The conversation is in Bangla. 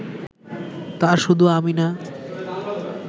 তা শুধু আমি না